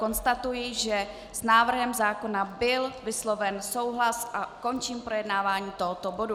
Konstatuji, že s návrhem zákona byl vysloven souhlas, a končím projednávání tohoto bodu.